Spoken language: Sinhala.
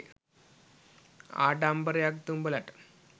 ආඩම්බරයක්ද උබලට?